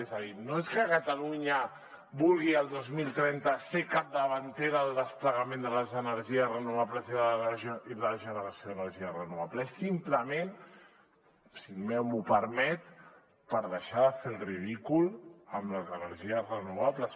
és a dir no és que catalunya vulgui el dos mil trenta ser capdavantera en el desplegament de les energies renovables i de la generació d’energia renovable és simplement si m’ho permet per deixar de fer el ridícul amb les energies renovables